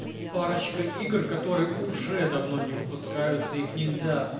парочка игр которые уже давно не выпускаются их нельзя